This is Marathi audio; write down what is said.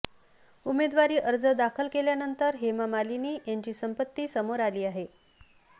उमेदवारी अर्ज दाखल केल्यानंतर हेमा मालिनी यांची संपत्ती समोर आली आहे